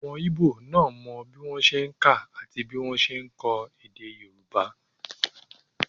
Ọmọ íbò náà mọ bí wọ́n ṣe n kà àti bí wọ́n ṣe n kọ èdè yóòbá